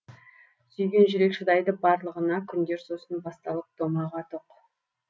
сүйген жүрек шыдайды барлығына күндер сосын басталып томаға тоқ